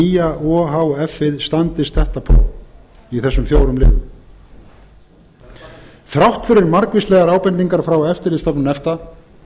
nýja o h f ið standist þetta próf í þessum fjórum liðum þrátt fyrir margvíslegar ábendingar frá eftirlitsstofnun efta